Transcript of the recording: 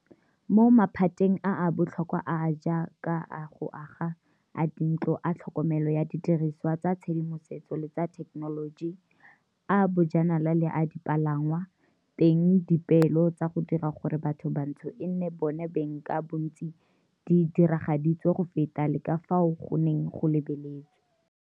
Mo maphateng a a botlhokwa a a jaaka a go aga, a dintlo, a tlhokomelo ya didirisiwa tsa tshedimosetso le tsa thekenoloji, a bojanala le a dipalangwa, teng dipeelo tsa go dira gore bathobantsho e nne bona beng ka bontsi di diragaditswe go feta le ka fao go neng go lebeletswe.